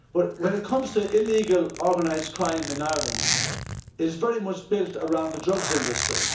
When it comes to illegal organised crime in Ireland, it is very much built around the drugs industry.